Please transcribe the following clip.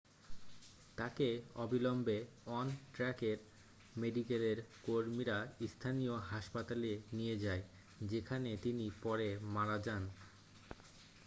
তাকে অবিলম্বে অন ট্র্যাকের মেডিকেলের কর্মীরা স্থানীয় হাসপাতালে নিয়ে যায় যেখানে তিনি পরে মারা যান